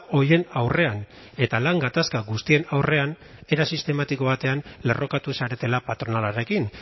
horien aurrean eta lan gatazka guztien aurrean era sistematiko batean lerrokatu zaretela patronalarekin